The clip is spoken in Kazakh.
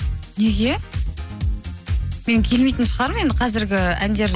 неге мен келмейтін шығармын енді қазіргі әндер